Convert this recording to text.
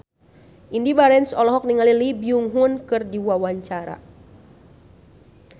Indy Barens olohok ningali Lee Byung Hun keur diwawancara